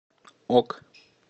ок